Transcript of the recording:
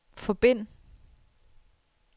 forbind